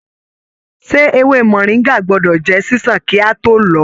Ṣe ewé moringa gbọdọ jẹ ṣiṣan ki a to lọ ọ?